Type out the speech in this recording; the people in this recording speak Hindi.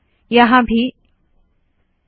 यहाँ भी एक रिवर्स स्लैश डालती हूँ